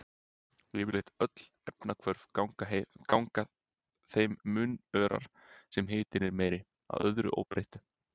Yfirleitt öll efnahvörf ganga þeim mun örar sem hitinn er meiri, að öðru óbreyttu.